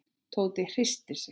Tóti hristi sig.